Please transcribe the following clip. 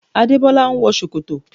Adébọ́lá ń wọ ṣòkòtò